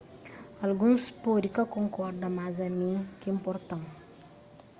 alguns pode ka konkorda mas ami ki inporta-m